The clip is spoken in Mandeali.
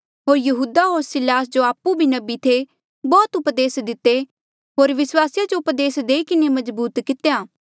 होर यहूदा होर सिलास जो आपु भी नबी थे बौह्त उपदेस दिते होर विस्वासिया जो उपदेस देई किन्हें मजबूत कितेया